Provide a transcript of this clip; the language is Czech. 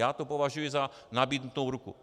Já to považuji za nabídnutou ruku.